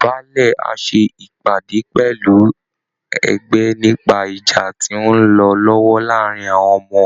Baálẹ̀ á ṣe ìpàdé pẹ̀lú ẹgbẹ́ nípa ìjà tó ń lọ lọ́wọ́ láàárín àwọn ọmọ